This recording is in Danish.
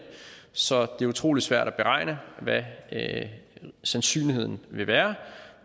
så det er utrolig svært at beregne hvad sandsynligheden vil være